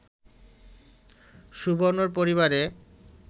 সুবর্ণর পরিবারে